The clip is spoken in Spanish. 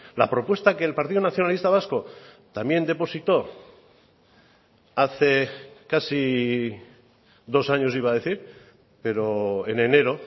la propuesta que el partido nacionalista vasco también depositó hace casi dos años iba a decir pero en enero